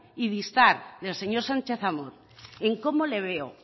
y distar del señor sánchez amor en cómo le veo